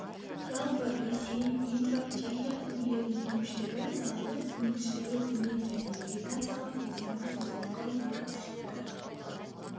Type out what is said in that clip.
жалпы ресей литва чехия үлгілерінің кемшілігі далалық өнгіштігі төмен және вегетациялық кезеңі созылыңқы болып шықты